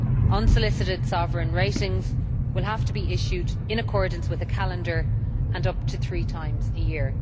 Unsolicited sovereign ratings will have to be issued in accordance with a calendar and up to three times a year.